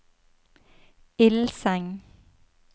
Ilseng